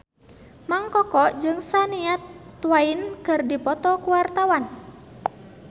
Mang Koko jeung Shania Twain keur dipoto ku wartawan